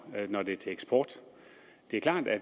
når det er til eksport det er klart at